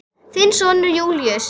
Þinn sonur Júlíus.